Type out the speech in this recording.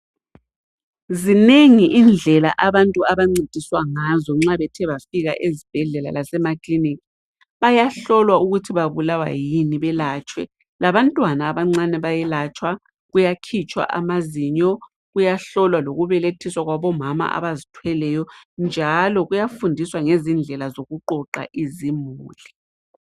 Zinengi indlela abantu abancediswa ngazo nxa bethe bafika ezibhedlela lasemaklinikhi. Bayahlolwa ukuthi babulawa yini belatshwe, labantwana abancane bayelatshwa, kuyakhitshwa amazinyo, kuyahlolwa lokubelethiswa kwabomama abazithweleyo njalo kuyafundiswa ngezindlela zokuqoqa izimuli.